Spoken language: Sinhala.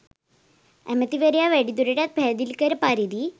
ඇමැතිවරයා වැඩිදුරටත් පැහැදිලි කළ පරිදි